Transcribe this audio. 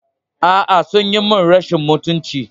A'a, sun yi min rashin mutunci.